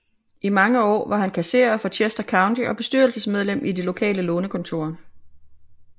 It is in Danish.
I mange år var han kasserer for Chester County og bestyrelsesmedlem i det lokale lånekontor